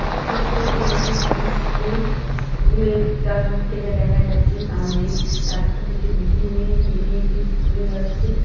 দেখতে পাচ্ছি এটি স্কুল স্কুল -এর টা দূর থেকে দেখা যাচ্ছে সামনে রাস্তা থেকে দুটি মেয়ে হেঁটে হেঁটে স্কুলে যাচ্ছে।